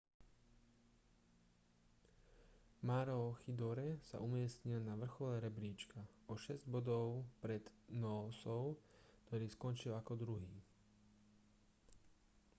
maroochydore sa umiestnil na vrchole rebríčka o šesť bodov pred noosou ktorý skončil ako druhý